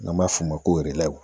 N'an b'a f'o ma ko